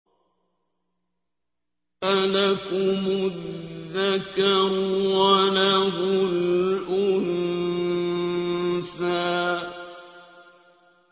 أَلَكُمُ الذَّكَرُ وَلَهُ الْأُنثَىٰ